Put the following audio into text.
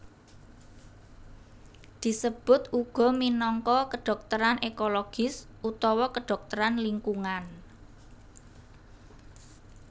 Disebut uga minangka kedhokteran ekologis utawa kedhokteran lingkungan